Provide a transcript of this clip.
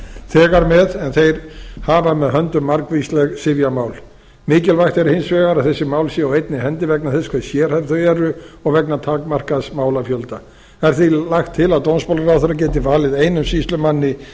þegar með en þeir hafa með höndum margvísleg sifjamál mikilvægt er hins vegar að þessi mál séu á einni hendi vegna þess að hve sérhæfð þau eru og vegna takmarkaðs málafjölda er því lagt til að dómsmálaráðherra geti valið einum sýslumanni